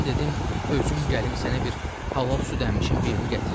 Mən dedim özüm gəlim sənə bir halal süd əmmişin birini gətirim.